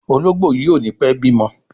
Ológbòyí o ní pé bimo.